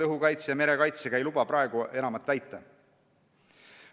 Õhukaitse ja merekaitse seis ei luba praegu enamat väita.